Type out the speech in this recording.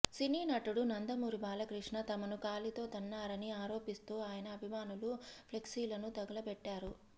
సినీ నటుడు నందమూరి బాలకృష్ణ తమను కాలితో తన్నారని ఆరోపిస్తూ ఆయన అభిమానులు ఫ్లెక్సీలను తగులబెట్టారు